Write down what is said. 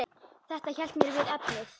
Þetta hélt mér við efnið.